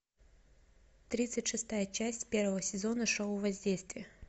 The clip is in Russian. тридцать шестая часть первого сезона шоу воздействие